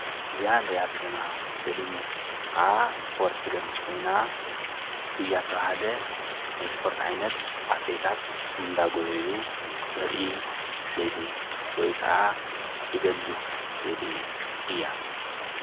እዛ እንሪኣ ዘለና ስእሊ ከዓ ስፖርት ትገልፅ ኮይና ጉያ ዝተብሃለ ናይ ስፖርት ዓይነት ኣትሌታት እና ዳጎየዩ ተርኢ ስእሊ ወይከዓ ትገልፅ ስእሊ እያ።